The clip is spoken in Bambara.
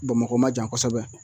Bamakɔ ma jan kosɛbɛ